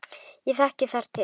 Ég þekki þar til.